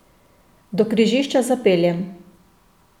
Do križišča zapeljem.